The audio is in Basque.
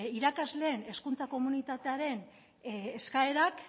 irakasleen hezkuntza komunitatearen eskaerak